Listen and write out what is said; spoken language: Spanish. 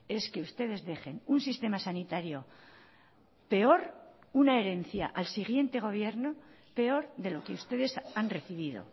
es que ustedes dejen un sistema sanitario peor una herencia al siguiente gobierno peor de lo que ustedes han recibido